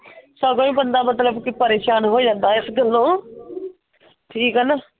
ਸਗੋਂ ਹੀ ਬੰਦਾ ਮਤਲਬ ਪ੍ਰੇਸ਼ਾਨ ਹੀ ਜਾਂਦਾ ਆ ਇਸ ਗੱਲੋਂ। ਠੀਕ ਆ ਨਾ?